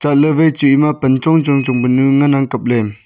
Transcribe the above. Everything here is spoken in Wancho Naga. chat ley wai chu ema pan chong chong panu ngan ang kapley.